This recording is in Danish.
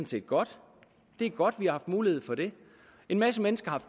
set godt det er godt vi har haft mulighed for det en masse mennesker har